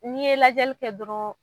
N'i ye lajɛli kɛ dɔrɔn